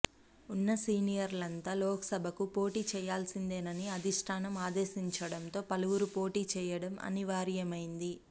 ఉన్న సీనియర్లంతా లోక్సభకు పోటీ చేయాల్సిందేనని ఆధిష్టానం ఆదేశించడంతో పలువురు పోటీ చేయడం అనివార్యమైంది